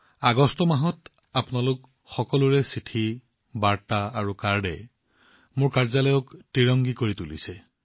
আগষ্টৰ এই মাহত আপোনালোকৰ সকলো চিঠি বাৰ্তা আৰু কাৰ্ডে মোৰ কাৰ্যালয় ত্ৰিৰংগাময় কৰি তুলিছে